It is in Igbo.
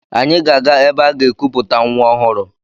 Anyị ga-aga ebe aga-ekuputa nwa ọhụrụ.